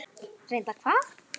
Reyndar hvað?